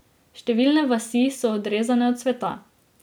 Številne vasi so odrezane od sveta.